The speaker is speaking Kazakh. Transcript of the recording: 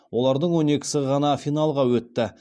олардың он екісі ғана финалға өтті